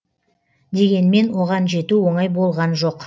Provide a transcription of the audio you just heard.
дегенмен оған жету оңай болған жоқ